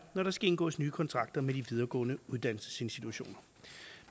når der skal indgås nye kontrakter med de videregående uddannelsesinstitutioner